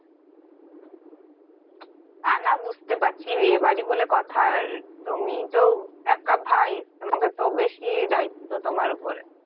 তা না বুঝতে পারছি বিয়ে বাড়ি বলে কথা আর তুমি তো একা ভাই তোমাদের তো বেশি দায়িত্ব তোমার উপরে